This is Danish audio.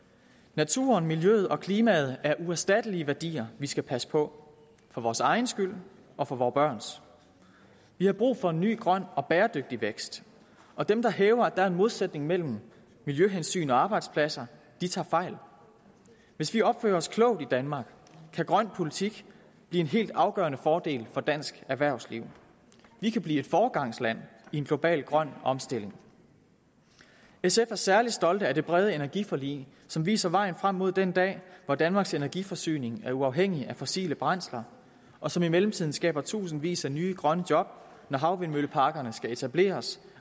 naturen miljøet og klimaet er uerstattelige værdier vi skal passe på for vores egen skyld og for vore børns vi har brug for en ny grøn og bæredygtig vækst og dem der hævder at der er en modsætning mellem miljøhensyn og arbejdspladser tager fejl hvis vi opfører os klogt i danmark kan grøn politik blive en helt afgørende fordel for dansk erhvervsliv vi kan blive foregangsland i en global grøn omstilling sf er særlig stolte af det brede energiforlig som viser vejen frem mod den dag hvor danmarks energiforsyning er uafhængig af fossile brændsler og som i mellemtiden skaber tusindvis af nye grønne job når havvindmølleparkerne skal etableres